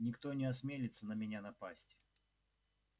никто не осмелится на меня напасть